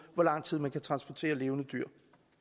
hvor lang tid man kan transportere levende dyr